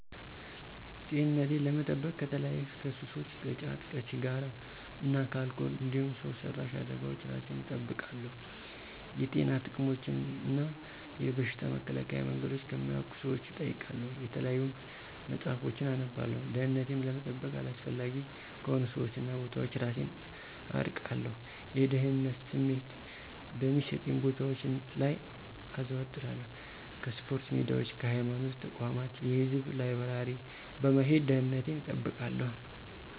-ጤንነቴን ለመጠበቅ ከተለያዩ ከሱሶች ከጫት፣ ከሲራ እና ከአልኮል እንዲሁም ሠው ሰራሽ አደጋወች እራሴን እጠብቃለሁ። የጤና ጥቅሞችን እና የበሽታ መከላከያ መንገዶችን ከሚያውቁ ሠዎች እጠይቃለሁ የተለያዩ መፅሀፎችን አነባለሁ። -ደህንነቴን ለመጠበቅ አላስፈላጊ ከሆኑ ሠዎች እና ቦታዎች እራሴን አርቃለሁ። የደህንነት ስሜት በሚሠጡኝ ቦታወች ላይ አዞትራለሁ ከስፖርታ ሜዳዎች ከሀይማኖት ተቋማት የህዝብ ላይበራሪ በመሄድ ደንነቴን እጠብቃለሁ